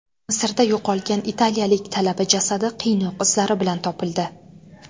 Misrda yo‘qolgan italiyalik talaba jasadi qiynoq izlari bilan topildi.